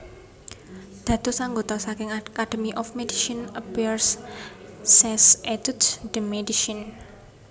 Dados anggota saking Academy of MedicineAprès ses études de médecine